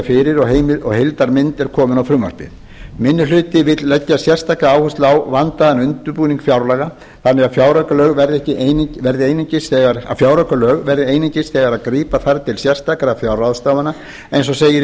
fyrir og heildarmynd er komin á frumvarpið minni hluti vill leggja sérstaka áherslu á vandaðan undirbúning fjárlaga þannig að fjáraukalög verði einungis þegar grípa þarf til sérstakra fjárráðstafana eins og segir í